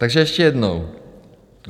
Takže ještě jednou.